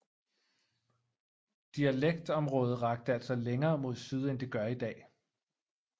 Dialekktområdet rakte altså længere mod syd end det gør i dag